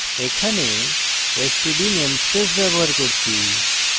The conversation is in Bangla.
এখানে std namespace ব্যবহার করছি